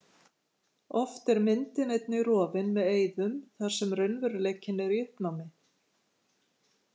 Oft er myndin einnig rofin með eyðum þar sem raunveruleikinn er í uppnámi.